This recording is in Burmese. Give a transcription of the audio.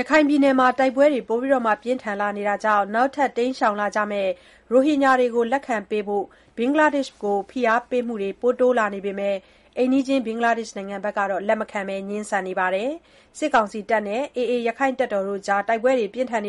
ရခိုင်ပြည်နယ်မှာ တိုက်ပွဲတွေ ပြင်းထန်လာနေတာကြောင့် နောက်ထပ် တိမ်းရှောင်လာကြမဲ့ ရိုဟင်ဂျာတွေကို လက်ခံဖို့ ဖိအားပေးမှုတွေ တိုးလာနေပေမဲ့ အိမ်နီးချင်း ဘင်္ဂလားဒေ့ရှ် နိုင်ငံကတော့ လက်မခံဘဲ ငြင်းဆန်နေပါတယ်။ စစ်ကောင်စီနဲ့ ရက္ခိုင့်တပ်တော် (AA) တို့ကြား တိုက်ပွဲတွေကြောင့်